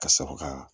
Ka sɔrɔ ka